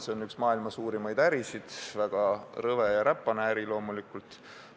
See on üks maailma suurimaid ärisid, väga rõve ja räpane äri loomulikult.